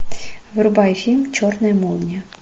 врубай фильм черная молния